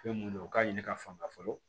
Fɛn mun don u k'a ɲini ka fanga fɔlɔ